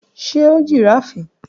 Ṣe o giraffe?